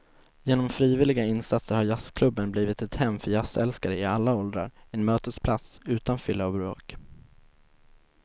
Genom frivilliga insatser har jazzklubben blivit ett hem för jazzälskare i alla åldrar, en mötesplats utan fylla och bråk.